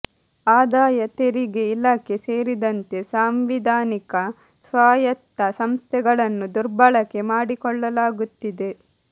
ಆದಾಯ ತೆರಿಗೆ ಇಲಾಖೆ ಸೇರಿದಂತೆ ಸಾಂವಿಧಾನಿಕ ಸ್ವಾಯತ್ತ ಸಂಸ್ಥೆಗಳನ್ನು ದುರ್ಬಳಕೆ ಮಾಡಿಕೊಳ್ಳಲಾಗುತ್ತಿದೆ